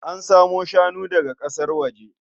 An samo shanu daga ƙasar waje.